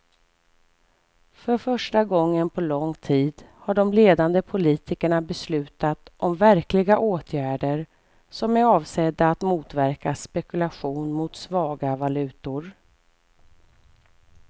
För första gången på lång tid har de ledande politikerna beslutat om verkliga åtgärder som är avsedda att motverka spekulation mot svaga valutor.